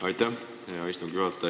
Aitäh, hea istungi juhataja!